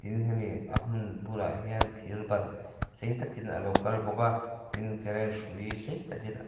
in hemi a hmun bulah hian thir ban sei takin a lo kal bawk a tin current hrui sei takin--